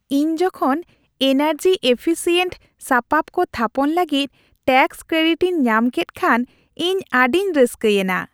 ᱤᱧ ᱡᱚᱠᱷᱚᱱ ᱮᱱᱟᱨᱡᱤᱼᱮᱯᱷᱤᱥᱤᱭᱮᱱᱴ ᱥᱟᱯᱟᱵ ᱠᱚ ᱛᱷᱟᱯᱚᱱ ᱞᱟᱹᱜᱤᱫ ᱴᱮᱠᱥ ᱠᱨᱮᱰᱤᱴ ᱤᱧ ᱧᱟᱢ ᱠᱮᱫ ᱠᱷᱟᱱ ᱤᱧ ᱟᱹᱰᱤ ᱨᱟᱹᱥᱠᱟᱹᱭᱮᱱᱟ ᱾